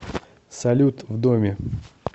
салют в доме